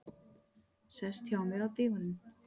Sest hjá mér á dívaninn.